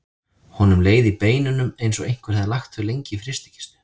Honum leið í beinunum eins og einhver hefði lagt þau lengi í frystikistu.